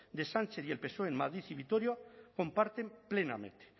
de sánchez y el psoe en madrid y vitoria comparten plenamente